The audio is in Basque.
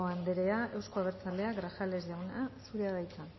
andrea euzko abertzaleak grajales jauna zurea da hitza